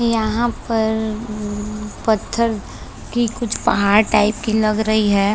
यहाँ पर पत्थर की कुछ पहाड़ टाइप की लग रही है।